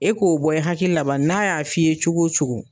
E k'o bɔ hakili la bani n'a y'a f'i ye cogo o cogo.